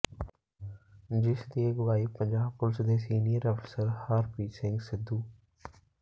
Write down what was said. ਜਿਸ ਦੀ ਅਗਵਾਈ ਪੰਜਾਬ ਪੁਲਿਸ ਦੇ ਸੀਨੀਅਰ ਅਫ਼ਸਰ ਹਰਪ੍ਰੀਤ ਸਿੰਘ ਸਿੱਧੂ